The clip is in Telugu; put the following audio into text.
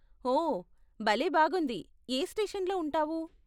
ఓ, భలే బాగుంది! ఏ స్టేషన్లో ఉంటావు?